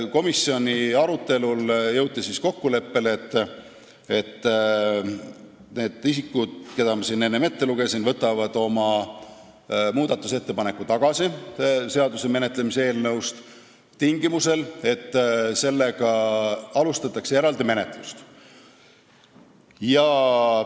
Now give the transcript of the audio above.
Komisjoni arutelul jõuti kokkuleppele, et need isikud, kelle nimed ma siin enne ette lugesin, võtavad oma muudatusettepaneku tagasi, tingimusel, et alustatakse selle teema eraldi menetlust.